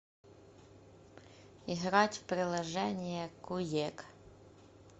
играть в приложение куек